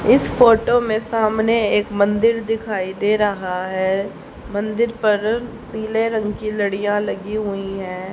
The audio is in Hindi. इस फोटो में सामने एक मंदिर दिखाई दे रहा हैं मंदिर पर पिले रंग की लड़ीया लगी हुई है।